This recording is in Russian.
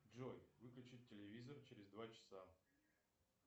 джой выключить телевизор через два часа